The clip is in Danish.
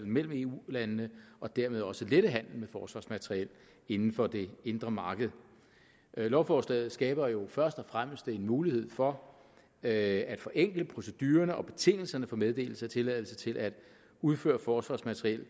mellem eu landene og dermed også lette handelen med forsvarsmateriel inden for det indre marked lovforslaget skaber jo først og fremmest en mulighed for at forenkle procedurerne og betingelserne for meddelelse af tilladelse til at udføre forsvarsmateriel